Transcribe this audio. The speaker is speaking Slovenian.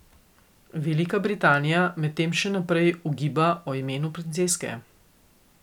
Velika Britanija medtem še naprej ugiba o imenu princeske.